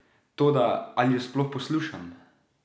Toda, ali jo sploh poslušam?